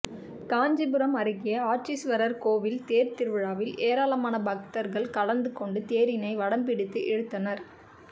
காஞ்சிபுரம் அருகே ஆட்சிஸ்வரர் கோவில் தேர்த் திருவிழாவில் ஏராளமான பக்தர்கள் கலந்துகொண்டு தேரினை வடம் பிடித்து இழுத்தனர்